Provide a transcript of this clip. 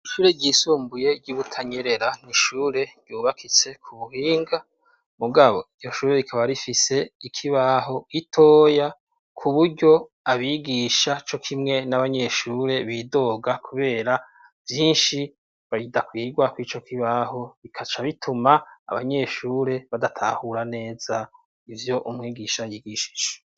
Ishure ryisumbuye ry'Ibutanyerera ni ishure ryubakitse ku buhinga, mugabo iryo shure rikaba rifise ikibaho gitoya, ku buryo abigisha cokimwe n'abanyeshure bidoga kubera vyinshi bidakwirwa kuri ico kibaho, bikaca bituma abanyeshure badatahura neza ivyo umwigisha yigishije.